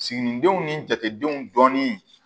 Siginidenw ni jatedenw dɔɔnin